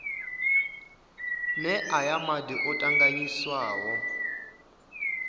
nee aya madi o tanganyiswaho